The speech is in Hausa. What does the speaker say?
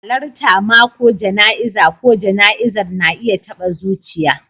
Halartar mako jana'izar ko jana'izar na iya taɓa zuciya.